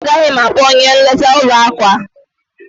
Mba, agaghị m akpọ onye nleta ụlọ akụ a.